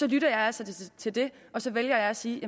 lytter jeg altså til det og så vælger jeg at sige